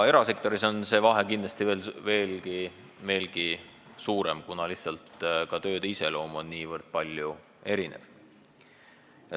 Erasektoris on see vahe kindlasti veelgi suurem, kuna lihtsalt tööde iseloom erineb niivõrd palju.